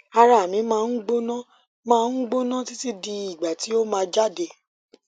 ara mi ma n gbona ma n gbona titi di igba ti o ma jade